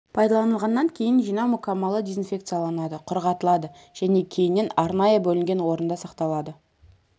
пайдаланылғаннан кейін жинау мүкәммалы дезинфекцияланады құрғатылады және кейіннен арнайы бөлінген орында сақталады